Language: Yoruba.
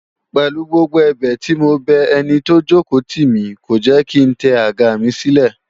Pèlu gbogbo ẹ̀bẹ̀ tí mo bẹ ẹni tó jòkó tì mí, kò jẹ́ kí ń tẹ àga mi sílẹ̀